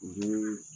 U bɛ